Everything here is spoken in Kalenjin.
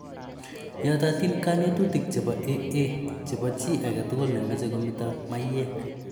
Yatatin kanetutik chebo AA chebo chi age tugul ne mache kometa maiyek